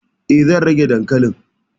E, zan rage dankalin.